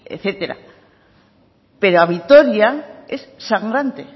etcétera pero a vitoria es sangrante